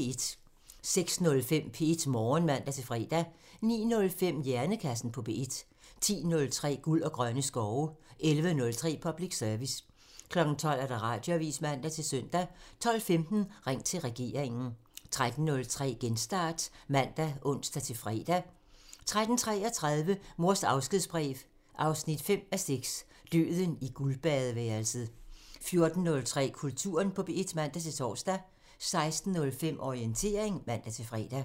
06:05: P1 Morgen (man-fre) 09:05: Hjernekassen på P1 (man) 10:03: Guld og grønne skove (man) 11:03: Public Service (man) 12:00: Radioavisen (man-søn) 12:15: Ring til regeringen (man) 13:03: Genstart (man og ons-fre) 13:33: Mors afskedsbrev 5:6 – Døden i guldbadeværelset 14:03: Kulturen på P1 (man-tor) 16:05: Orientering (man-fre)